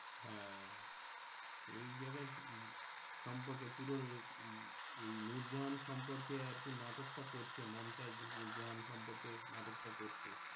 হ্যাঁ ওই জাগার সম্পর্কে পুরো এই নুরজাহান সম্পর্কে এত নাটক টা করছে মমতাজ যান সম্পর্কে নাটকটা করছে।